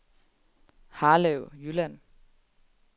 Harlev Jylland